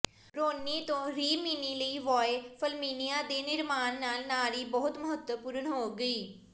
ਰੋਨੀ ਤੋਂ ਰਿਮਿਨੀ ਲਈ Via Flaminia ਦੇ ਨਿਰਮਾਣ ਨਾਲ ਨਾਰੀ ਬਹੁਤ ਮਹੱਤਵਪੂਰਨ ਹੋ ਗਈ